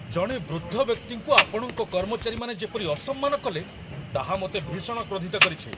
ଜଣେ ବୃଦ୍ଧ ବ୍ୟକ୍ତିଙ୍କୁ ଆପଣଙ୍କ କର୍ମଚାରୀମାନେ ଯେପରି ଅସମ୍ମାନ କଲେ, ତାହା ମୋତେ ଭୀଷଣ କ୍ରୋଧିତ କରିଛି।